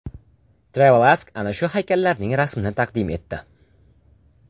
Travel Ask ana shu haykallarning rasmini taqdim etdi.